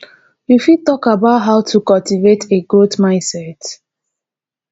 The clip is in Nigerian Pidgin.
you fit talk about how to cultivate a growth mindset